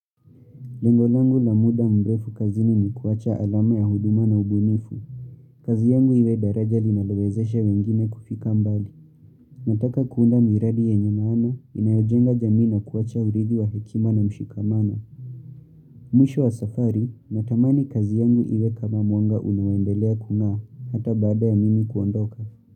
Lengo langu la muda mrefu kazini ni kuwacha alama ya huduma na ubunifu. Kazi yangu iwe daraja linalowezesha wengine kufika mbali. Nataka kuunda miradi yenye maana, inayojenga jamii na kuwacha urithi wa hekima na mshikamano. Mwisho wa safari, natamani kazi yangu iwe kama mwanga unaoendelea kung'aa, hata baada ya mimi kuondoka.